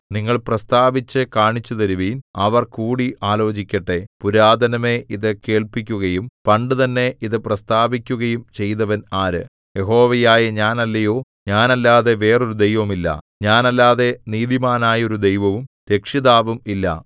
നിങ്ങൾ പ്രസ്താവിച്ചു കാണിച്ചുതരുവിൻ അവർ കൂടി ആലോചിക്കട്ടെ പുരാതനമേ ഇതു കേൾപ്പിക്കുകയും പണ്ടുതന്നെ ഇതു പ്രസ്താവിക്കുകയും ചെയ്തവൻ ആര് യഹോവയായ ഞാൻ അല്ലയോ ഞാൻ അല്ലാതെ വേറൊരു ദൈവം ഇല്ല ഞാൻ അല്ലാതെ നീതിമാനായൊരു ദൈവവും രക്ഷിതാവും ഇല്ല